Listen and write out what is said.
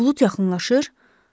Bulud yaxınlaşır?